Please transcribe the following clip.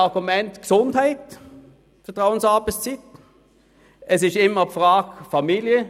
Beim Thema Vertrauensarbeitszeit ist auch immer die Gesundheit ein Argument.